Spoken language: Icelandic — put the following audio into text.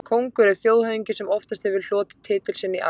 Kóngur er þjóðhöfðingi sem oftast hefur hlotið titil sinn í arf.